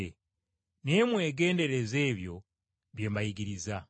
Naye mwegendereze ebyo bye mbayigiriza.